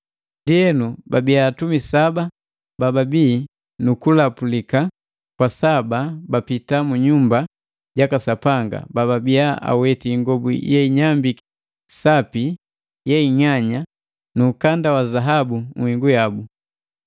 Ndienu abiya atumi saba babii nukulapulika kwa saba bapita mu nyumba jaka Sapanga babiya aweti ingobu yeinyambiki sapi yeing'anya nu ukanda wa zahabu nhingu yabu.